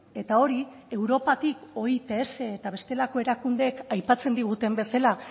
eta hori europatik oits eta bestelako erakundeek aipatzen diguten bezala